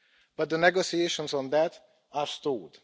But the negotiations on that are stalled.